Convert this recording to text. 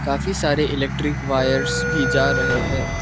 काफी सारे electric wires भी जा रहे हैं।